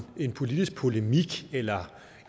politisk polemik eller